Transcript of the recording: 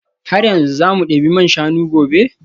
Har yanzu za mu debi man shanu gobe?